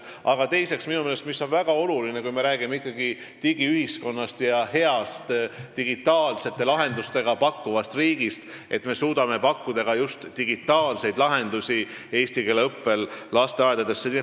Aga minu meelest on väga oluline, kui me räägime digiühiskonnast ja häid digitaalseid lahendusi pakkuvast riigist, et me suudame pakkuda ka just digitaalseid lahendusi eesti keele õppe jaoks lasteaedades.